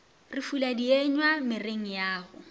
re fula dienywa mereng yago